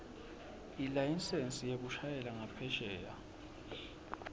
ilayisensi yekushayela ngaphesheya